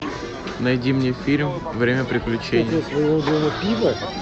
найди мне фильм время приключений